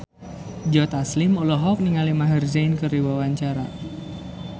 Joe Taslim olohok ningali Maher Zein keur diwawancara